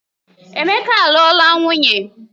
Emeka aluola nwunye?